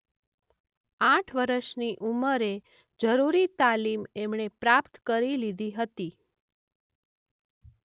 આઠ વરસની ઉમરે જરૂરી તાલીમ એમણે પ્રાપ્ત કરી લીધી હતી.